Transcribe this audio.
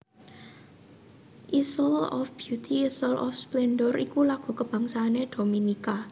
Isle of Beauty Isle of Splendour iku lagu kabangsané Dominika